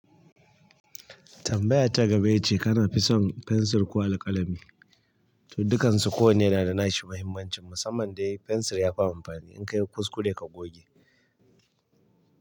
Tambaya ta gaba ita ce kana fi son fensir ko alƙalami? To, dukansu kowanne na da nashi muhimmancin. Musamman dai fensir yafi amfani in ka yi kuskure ka goge.